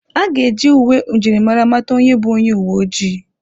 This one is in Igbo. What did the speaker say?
A ga-eji uwe njirimara mata onye bụ onye uwe ojii.